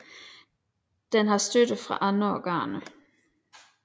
Den har støtte fra de andre organer